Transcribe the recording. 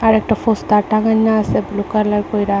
একটা পোস্টার টাঙ্গাইনা আছে ব্লু কালার কইরা।